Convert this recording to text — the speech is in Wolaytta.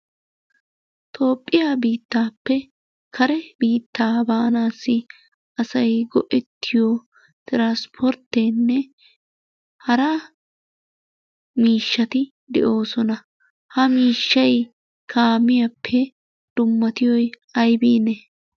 Toophphiya biittaappe kare biittaa baanaassi traspporttenne hara miishshati de'oosona. Ha miishshay kaamiyappe dummatiyoy aybiinne?